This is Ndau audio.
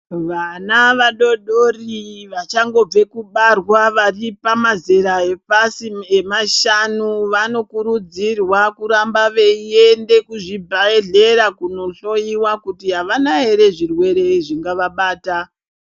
vana vadodori vachangobve kubarwa vari pamazera epasi pemashanu vanokurudzirwa kuramba veyiende kuzvibhedhlera kunohloyiwa kuti havana here zvirwere zvingavabata .